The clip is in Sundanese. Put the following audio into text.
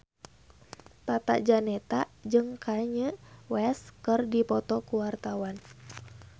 Tata Janeta jeung Kanye West keur dipoto ku wartawan